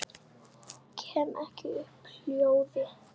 Kem ekki upp hljóði.